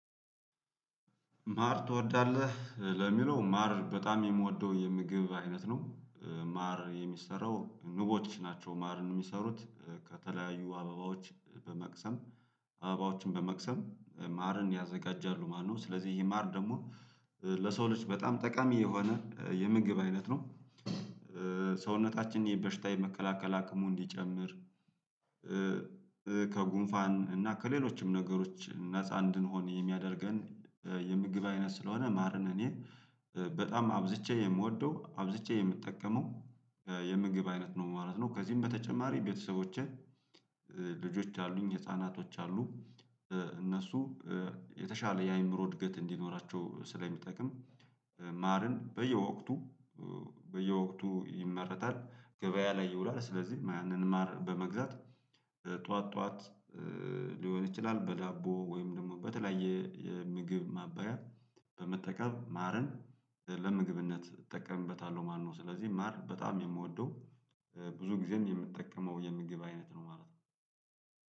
ማር ትወዳለህ ለሚለው ማር በጣም የምወደው የምግብ አይነት ነው። ማር የሚሰራው ንቦች ናቸው ማርን የሚሰሩት ከተለያዩ አበባዎች በመቅሰም አበባዎችን በመቅሰም ማርን ያዘጋጃሉ ማለት ነው። ስለዚህ ይሄ ማር ደግሞ ለሰው ልጅ በጣም ጠቃሚ የሆነ የምግብ አይነት ነው። ሰውነታችን በሽታ የመከላከል አክሙ እንዲጨምር ከጉንፋን እና ከሌሎችም ነገሮች ነፃ እንድንሆን የሚያደርገን። የምግብ አይነት ስለሆነ ማርን እኔ በጣም አብዝቼ የምወደው አብዝቼ የምጠቀመው የምግብ አይነት ነው ማለት ነው። ከዚህም በተጨማሪ ቤተሰቦቼ ልጆች አሉኝ ህፃናቶች አሉ። እነሱ የተሻለ የአእምሮ እድገት እንዲኖራቸው ስለሚጠቅም። ማርን በየወቅቱ በየወቅቱ ይመረታል ገበያ ላይ ይውላል። ስለዚህ ማንን ማር በመግዛት ጠዋት ጠዋት ሊሆን ይችላል በላቦ ወይም ደግሞ በተለያየ የምግብ ማበሪያ በመጠቀም ማርን ለምግብነት እጠቀምበታለሁ። ማነው ስለዚህ ማር በጣም የምወደው ብዙ ጊዜም የምትጠቀመው የምግብ አይነት ነው ማለት ነው።